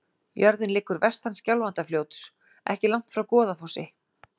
Jörðin liggur vestan Skjálfandafljóts, ekki langt frá Goðafossi.